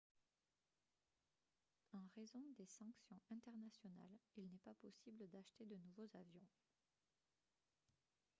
en raison des sanctions internationales il n'est pas possible d'acheter de nouveaux avions